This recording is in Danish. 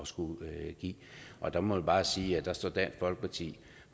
skulle give og der må man bare sige at der står dansk folkeparti